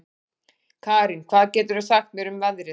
Karín, hvað geturðu sagt mér um veðrið?